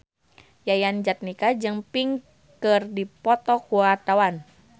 Yayan Jatnika jeung Pink keur dipoto ku wartawan